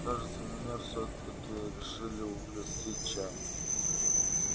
кажется меня всё-таки решили угостить чаем